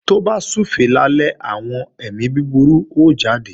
Tó bá súfèé lálẹ́, àwọn èmi búburú ó jáde